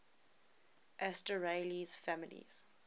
asterales families